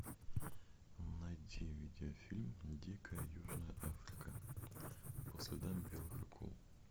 найти видеофильм дикая южная африка по следам белых акул